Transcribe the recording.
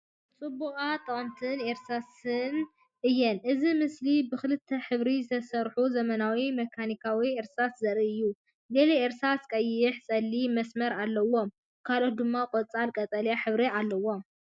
ጽቡቓትን ጠቐምትን እርሳስ እየን! እዚ ምስሊ ብኽልተ ሕብሪ ዝተሰርሑ ዘመናዊ መካኒካዊ እርሳስ ዘርኢ እዩ። ገለ እርሳስ ቀይሕን ጸሊምን መስመር ኣለዎም፣ ካልኦት ድማ ጸሊም ቀጠልያ ሕብሪ ኣለዎም።